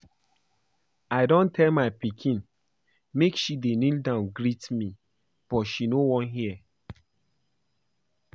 I don tell my pikin make she dey kneel down greet me but she no wan hear